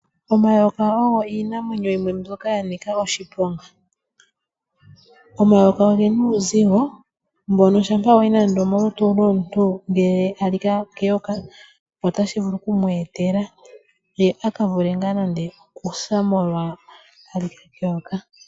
Omayoka ogo iinamwenyo mbyoka ya nika oshiponga. Omayoka oge na uuzigo, mbono shampa wa yi nande omolutu lwomuntu ngele a lika keyoka, otashi vulu okumu etela, ye a ka vule ngaa nande okusa molwa a lika keyoka.